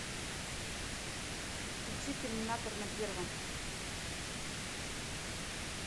включи терминатор на первом